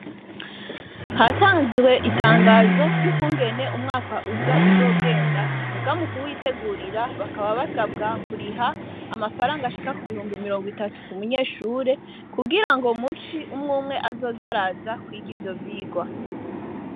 Hatanzwe itangazo ry'ukungene umwaka uza uzogenda, muga mu kuwitegurira bakaba basabwa kuriha amafaranga ashika ku mihumbi mirongo itatu ku munyeshure, kugira ngo mu ci umw'umwe azoze araza kwiga ivyo vyigwa.